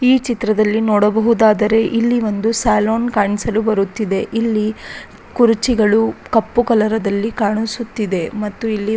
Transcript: ಈ ಚಿತ್ರದಲ್ಲಿ ನೋಡಬಹುದಾದರೆ ಇಲ್ಲಿ ಒಂದು ಸೆಲೂನ್ ಕಾಣಿಸಲು ಬರುತ್ತಿದೆ ಇಲ್ಲಿ ಕುರುಚಿಗಳು ಕಪ್ಪು ಕಲರದಲ್ಲಿ ಕಾಣಿಸುತ್ತಿದೆ ಮತ್ತು ಇಲ್ಲಿ --